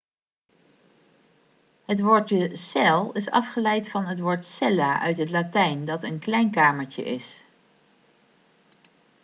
het woordje cel' is afgeleid van het woordje cella' uit het latijn dat een klein kamertje is